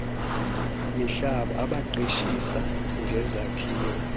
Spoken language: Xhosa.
mihlaba abaqeshisa ngezakhiwo